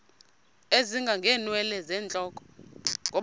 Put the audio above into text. ezinga ngeenwele zentloko